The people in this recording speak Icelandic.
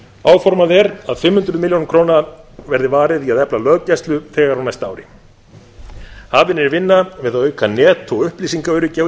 áformað er að fimm hundruð milljóna króna verði varið í að efla löggæslu þegar á næsta ári hafin er vinna við að auka net og upplýsingaöryggi á